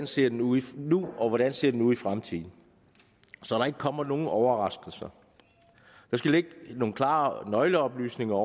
ser ud nu og hvordan den ser ud i fremtiden så der ikke kommer nogen overraskelser der skal ligge nogle klare nøgleoplysninger